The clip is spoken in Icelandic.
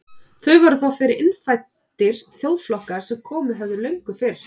Þar voru þá fyrir innfæddir þjóðflokkar sem komið höfðu löngu fyrr.